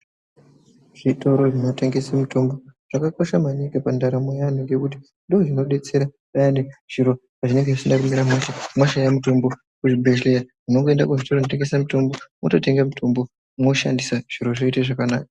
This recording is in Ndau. Zvitoro zvinotengese mitombo zvakakosha maningi pandarambo yeantu ngekuti ndoozvinodetsera payani zviro pazvinenge zvisina kumira mushe. Mashaya mutombo kuchibhedhleya munongoenda kuzvitoro zvinotengese mutombo mototenga mutombo mwoshandisa, zviro zvoite zvakanaka.